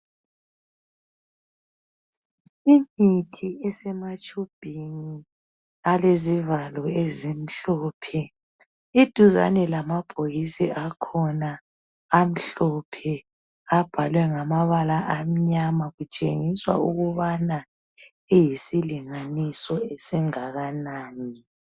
Imithi esematshubhini alezivalo ezimhlophe. Iduzane lamabhokisi akhona amhlophe abhalwe ngamabala amnyama kutshengiswa ukubana iyisilinganiso esingakanani.